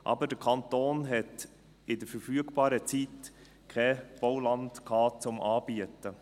Aber der Kanton hatte in der verfügbaren Zeit kein Bauland, um es anzubieten.